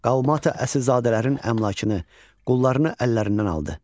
Qalmata əsilzadələrin əmlakını, qullarını əllərindən aldı.